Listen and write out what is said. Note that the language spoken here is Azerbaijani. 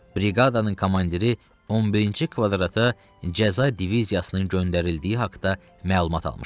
Briqadanın komandiri 11-ci kvadrata cəza diviziyasının göndərildiyi haqda məlumat almışdı.